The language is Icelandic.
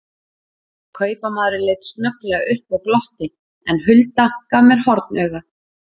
Kaupamaðurinn leit snögglega upp og glotti, en Hulda gaf mér hornauga.